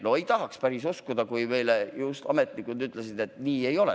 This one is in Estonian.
No ei tahaks seda päriselt uskuda, kui ametnikud just ütlesid meile, et nii see ei ole.